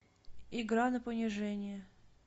игра на понижение